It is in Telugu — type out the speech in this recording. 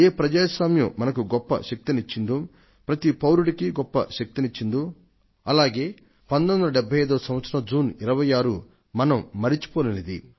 ఏ ప్రజాస్వామ్యం మనకు గొప్ప శక్తినిచ్చిందో ప్రతి నాగరికుడికి గొప్ప శక్తినిచ్చిందో అలాగే 1975 వ సంవత్సరం జూన్ 26 మనం మరిచిపోలేనిది